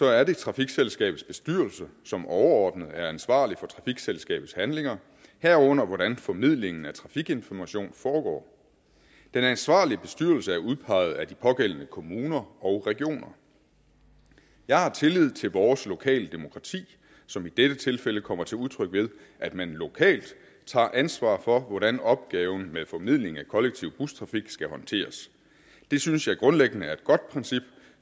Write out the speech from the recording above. er det trafikselskabets bestyrelse som overordnet er ansvarlig for trafikselskabets handlinger herunder hvordan formidlingen af trafikinformation foregår den ansvarlige bestyrelse er udpeget af de pågældende kommuner og regioner jeg har tillid til vores lokale demokrati som i dette tilfælde kommer til udtryk ved at man lokalt tager ansvar for hvordan opgaven med formidling af kollektiv bustrafik skal håndteres det synes jeg grundlæggende er et godt princip